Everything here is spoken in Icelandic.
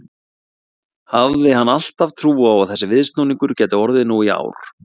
Hafði hann alltaf trú á að þessi viðsnúningur gæti orðið nú í ár?